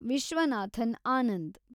Viswanathan Anand